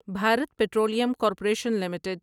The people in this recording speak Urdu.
Bharat petroleum corporation limited